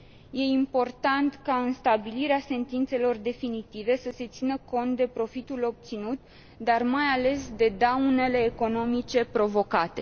E important ca, în stabilirea sentințelor definitive, să se țină cont de profitul obținut, dar, mai ales, de daunele economice provocate.